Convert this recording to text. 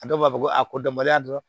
A dɔw b'a fɔ ko a kodɔnbaliya dɔrɔn